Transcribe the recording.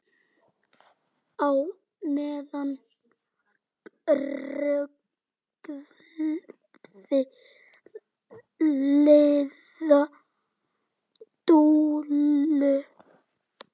Á meðan ruggaði Lilla Dúllu.